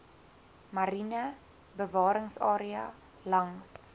mariene bewaringsarea langs